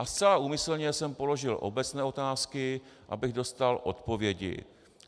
A zcela úmyslně jsem položil obecné otázky, abych dostal odpovědi.